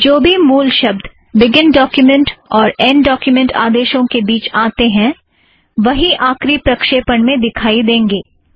जो भी मूल पाठ बिगिन डोक्युमेंट और ऐंड डोक्युमेंट आदेशों के बीच आतें हैं वही आखरी प्रक्षेपण में दिखाई देंगे